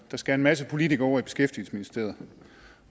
der skal en masse politikere over i beskæftigelsesministeriet